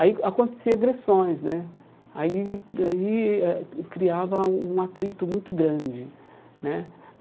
Aí acontecia agressões né aí daí eh, criava um atrito muito grande né.